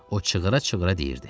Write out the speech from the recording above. O, çığıra-çığıra deyirdi: